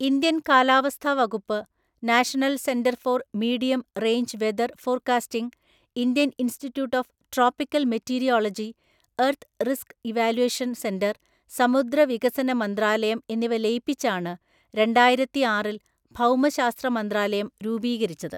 Indian കാലാവസ്ഥാ വകുപ്പ്, national centre for medium range weather forecasting, Indian institute of tropical meteorology, earth risk evaluation centre, സമുദ്ര വികസന മന്ത്രാലയം എന്നിവ ലയിപ്പിച്ചാണ് രണ്ടായിരത്തിആറില്‍ ഭൗമശാസ്ത്ര മന്ത്രാലയം രൂപീകരിച്ചത്.